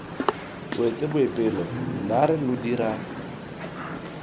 wetse boipelo naare lo dira